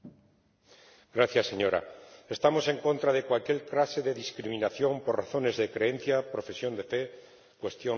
Señora Presidenta, estamos en contra de cualquier clase de discriminación por razones de creencia, profesión de fe, cuestión racial o étnica.